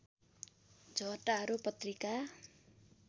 झटारो पत्रिका